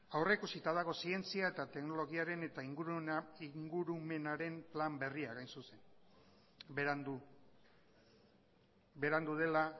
aurrikusita dago zientzia eta teknologiaren eta ingurumenaren plan berriak hain zuzen berandu berandu dela